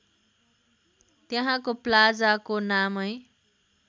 त्यहाँको प्लाजाको नामै